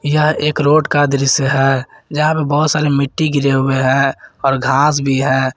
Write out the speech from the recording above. यह एक रोड का दृश्य है जहां पे बहुत सारे मिट्टी गिरे हुए हैं और घास भी है।